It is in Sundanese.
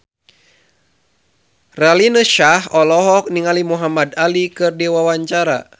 Raline Shah olohok ningali Muhamad Ali keur diwawancara